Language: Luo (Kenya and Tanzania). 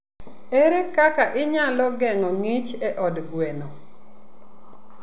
Ere kaka inyalo geng'o ngich e od gweno?